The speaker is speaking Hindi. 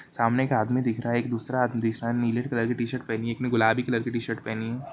सामने का आदमी दिख रहा है एक दूसरा दिख रहा नीले कलर की टी-शर्ट पहनी है एक ने गुलाबी कलर की टी-शर्ट पहनी है।